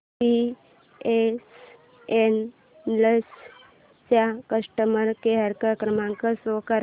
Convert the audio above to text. BSNL चा customer care क्रमांक show कर